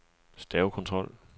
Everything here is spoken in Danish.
stavekontrol